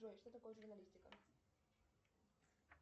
джой что такое журналистика